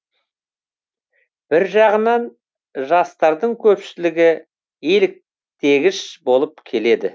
бір жағынан жастардың көпшілігі еліктгіш болып келеді